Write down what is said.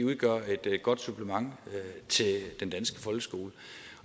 udgør et godt supplement til den danske folkeskole